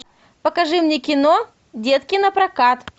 покажи мне кино детки на прокат